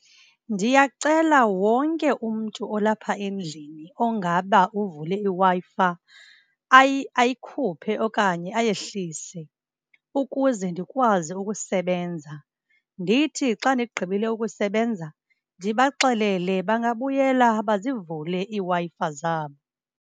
Ndiyacela wonke umntu olapha endlini ongaba uvule iWi-Fi ayikhuphe okanye ayehlise ukuze ndikwazi ukusebenza. Ndithi xa ndigqibile ukusebenza ndibaxelele bangabuyela bazivule iiWi-Fi zabo.